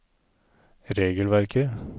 regelverket